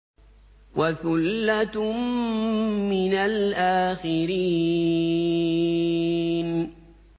وَثُلَّةٌ مِّنَ الْآخِرِينَ